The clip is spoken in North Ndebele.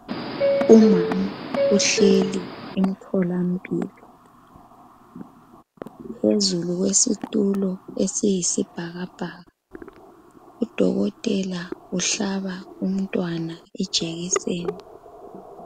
Umama uhleli emtholampilo phezulu kwesitulo esiyisibhakabhaka udokotela uhlaba umntwana ijekiseni.